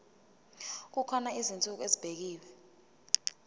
kukhona izinsuku ezibekiwe